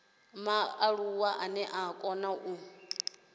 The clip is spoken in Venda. mualuwa ane a kona u